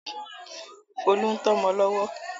Folú ń tọ́mọ lọ́wọ́.